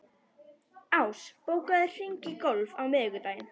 Ás, bókaðu hring í golf á miðvikudaginn.